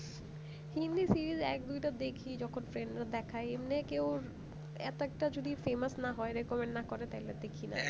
Hindi series এক দুটো দেখি যখন friend রা দেখায় এমনি কেউ এক একটা যদি famous না হয় recommend না করে তাহলে দেখি না